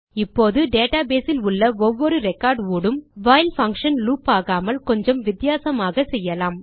இப்போது database இல் உள்ள ஒவ்வொரு ரெக்கார்ட் ஊடும் வைல் பங்ஷன் லூப் ஆகாமல் கொஞ்சம் வித்தியாசமாக செய்யலாம்